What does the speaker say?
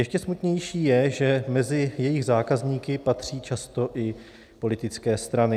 Ještě smutnější je, že mezi jejich zákazníky patří často i politické strany.